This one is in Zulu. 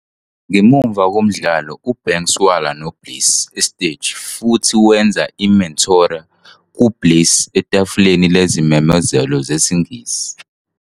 Ngemuva komdlalo, uBanks walwa noBliss esiteji futhi wenza i-"Meteora" ku-Bliss etafuleni lezimemezelo zesiNgisi.